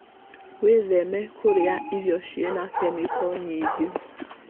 Wĩtheme kũrĩa irio cĩĩna kemiko nyingĩ.